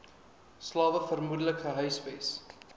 slawe vermoedelik gehuisves